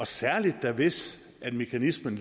særlig hvis mekanismen